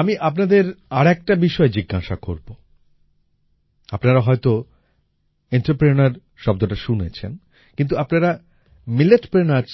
আমি আপনাদের আর একটা বিষয়ে জিজ্ঞাসা করব আপনারা হয়তো এন্টারপ্রেনিউর শব্দটা শুনেছেন কিন্তু আপনারা মিলেটপ্রেনিউর্স